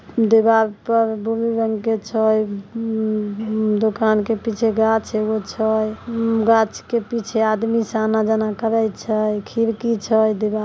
दीवार पर ब्लू रंग के छ म- म- दुकान के पीछे गाच वूच हई गाछ के पीछे आदमी स आना जाना करिए छे खिड़की छे दीवार--